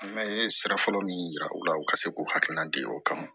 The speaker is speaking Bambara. An bɛ sira fɔlɔ min yira u la u ka se k'u hakilina di o kama